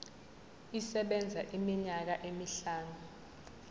isebenza iminyaka emihlanu